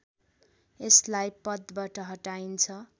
यसलाई पदबाट हटाइन्छ